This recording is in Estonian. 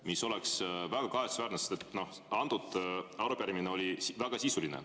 See oleks väga kahetsusväärne, sest see arupärimine oli väga sisuline.